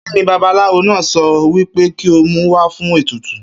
Kíni babaláwo náà so̩ wí pé kí ó mú wá fún ètùtù?